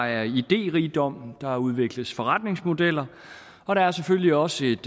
idérigdom der udvikles forretningsmodeller og der er selvfølgelig også et